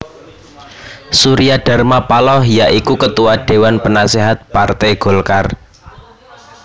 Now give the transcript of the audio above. Surya Dharma Paloh ya iku Ketua Déwan Penaséhat Parté Golkar